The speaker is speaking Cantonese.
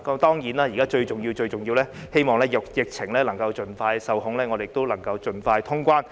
當然，現在最重要的是，希望疫情能盡快受控，我們能夠盡快通關。